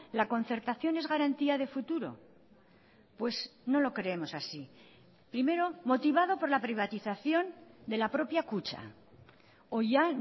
la concertación es garantía de futuro pues no lo creemos así primero motivado por la privatización de la propia kutxa o ya